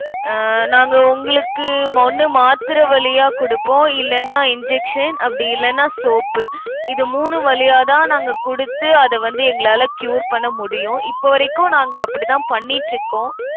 அஹ் நாங்க உங்களுக்கு ஒண்ணு மாத்திரை வழியா குடுப்போம் இல்லைன்னா injection அப்படி இல்லைன்னா soap. இது மூணு வழியாதான், நாங்க குடுத்து, அதை வந்து எங்களால cure பண்ண முடியும். இப்பவரைக்கும், நாங்க அப்படிதான் பண்ணிட்டிருக்கோம்.